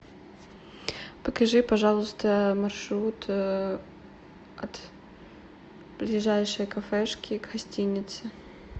покажи пожалуйста маршрут от ближайшей кафешки к гостинице